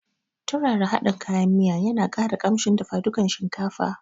Turara hadin kayan miya ya na ƙara kamshin dafa dukan shinkafa